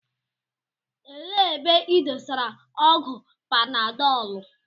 Elee ebe ị dosara ọgwụ panadọlu?